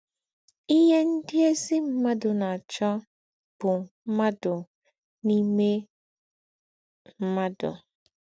Íhè ndị̀ ézí mmádụ̀ na-àchọ́ bụ́ mmádụ̀ n’ímè mmádụ̀